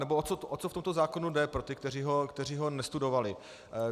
Nebo o co v tomto zákoně jde - pro ty, kteří ho nestudovali.